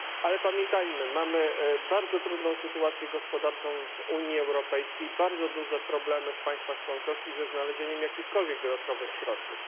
Ale pamiętajmy mamy bardzo trudną sytuację gospodarczą w Unii Europejskiej, bardzo duże problemy w państwach członkowskich ze znalezieniem jakichkolwiek dodatkowych środków.